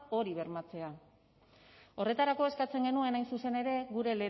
hori bermatzea horretarako eskatzen genuen hain zuzen ere gure